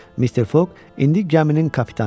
Mister Foq indi gəminin kapitanı idi.